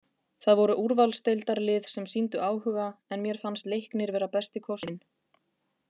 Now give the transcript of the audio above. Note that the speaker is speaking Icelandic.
Það voru úrvalsdeildarlið sem sýndu áhuga en mér fannst Leiknir vera besti kosturinn.